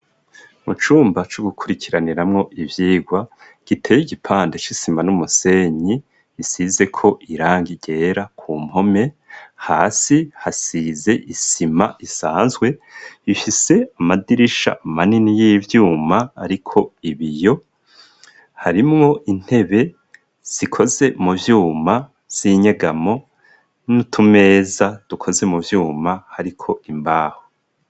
Mu cumba co gukurikiraniramwo ivyirwa giteye igipande c'isima n'umusenyi isize ko irangi ryera ku mpome, hasi hasize isima isanzwe ifise amadirisha manini y'ivyuma ariko ibiyo harimwo intebe zikoze mu vyuma z'inyegamo n'utumeza dukoze mu vyuma hariko imbaho.